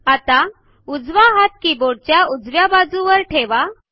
आता उजवा हात कीबोर्ड च्या उजव्या बाजूवर ठेवा